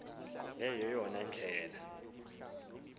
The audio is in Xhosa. le yeyona ndlela